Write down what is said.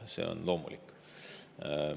See on loomulik.